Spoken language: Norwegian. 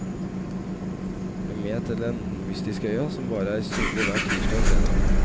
Bli med til den mystiske øya som bare er synlig hver tirsdag og fredag.